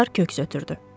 Kotar köks ötürdü.